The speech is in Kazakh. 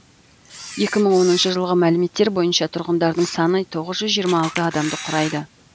екі мың оныншы жылғы мәліметтер бойынша тұрғындарының саны тоғыз жүз жиырма алты адамды құрайды